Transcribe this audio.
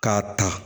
K'a ta